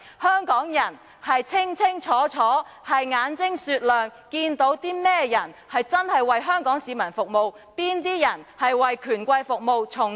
香港人心中清楚、眼睛雪亮，知道哪些人是真正為香港市民服務，哪些人是為權貴服務，從中撈取利益。